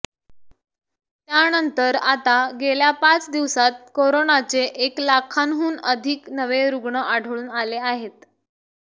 त्यानंतर आता गेल्या पाच दिवसांत कोरोनाचे एक लाखांहून अधिक नवे रुग्ण आढळून आले आहेत